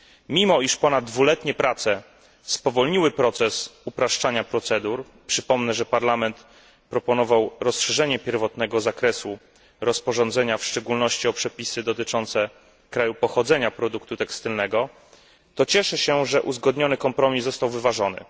Mimo, iż ponad dwuletnie prace spowolniły proces upraszczania procedur, przypomnę, że Parlament proponował rozszerzenie pierwotnego zakresu rozporządzenia, w szczególności o przepisy dotyczące kraju pochodzenia produktu tekstylnego, to cieszę się, że uzgodniony kompromis został wyważony.